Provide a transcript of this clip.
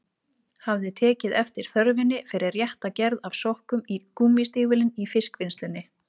Ég hafði tekið eftir þörfinni fyrir rétta gerð af sokkum í gúmmístígvélin í fiskvinnslunni.